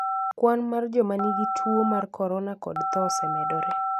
Kwan mar joma nigi tuo mar corona kod tho osemedore.